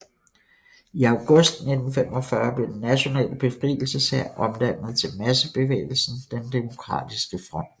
I august 1945 blev Den nationale befrielseshær omdannet til massebevægelsen Den demokratiske Front